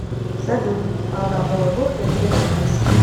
салют а на новый год ты где будешь